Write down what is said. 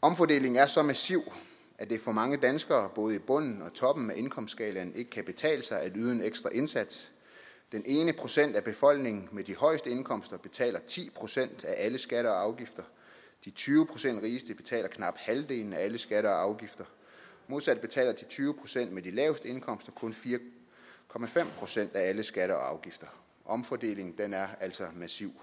omfordelingen er så massiv at det for mange danskere både i bunden og i toppen af indkomstskalaen ikke kan betale sig at yde en ekstra indsats den ene procent af befolkningen med de højeste indkomster betaler ti procent af alle skatter og afgifter de tyve procent rigeste betaler knap halvdelen af alle skatter og afgifter modsat betaler de tyve procent med de laveste indkomster kun fire procent af alle skatter og afgifter omfordelingen er altså massiv